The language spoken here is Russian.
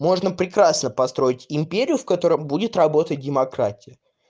можно прекрасно построить империю в котором будет работать демократия